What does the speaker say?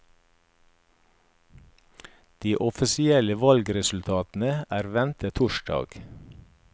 De offisielle valgresultatene er ventet torsdag.